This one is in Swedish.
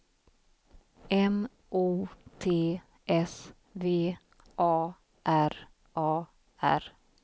M O T S V A R A R